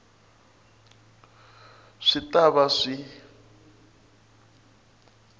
a swi ta va swi